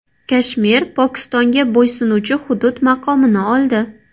Kashmir Pokistonga bo‘ysunuvchi hudud maqomini oldi.